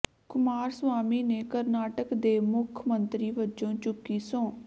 ਕੁਮਾਰਸਵਾਮੀ ਨੇ ਕਰਨਾਟਕ ਦੇ ਮੁੱਖ ਮੰਤਰੀ ਵੱਜੋਂ ਚੁੱਕੀ ਸਹੁੰ